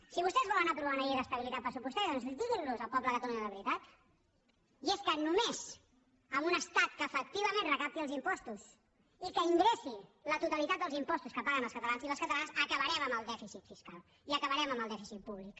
si vostès volen aprovar una llei d’estabilitat pressupostària doncs diguin al poble de catalunya la veritat i és que només amb un estat que efectivament recapti els impostos i que ingressi la totalitat dels impostos que paguen els catalans i les catalanes acabarem amb el dèficit fiscal i acabarem amb el dèficit públic